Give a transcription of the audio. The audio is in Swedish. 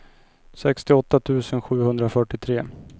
sextioåtta tusen sjuhundrafyrtiotre